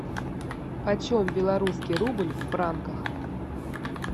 почем белорусский рубль в франках